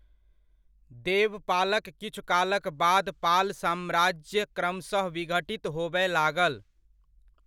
देवपालक किछु कालक बाद पाल साम्राज्य क्रमशह विघटित होबय लागल।